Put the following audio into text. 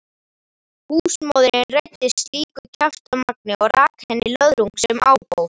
Húsmóðirin reiddist slíku kjaftamagni og rak henni löðrung sem ábót.